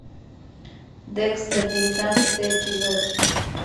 декстер девятнадцатый эпизод